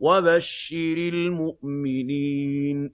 وَبَشِّرِ الْمُؤْمِنِينَ